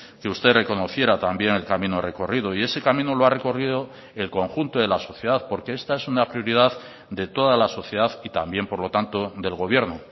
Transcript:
que usted reconociera también el camino recorrido y ese camino lo ha recorrido el conjunto de la sociedad porque esta es una prioridad de toda la sociedad y también por lo tanto del gobierno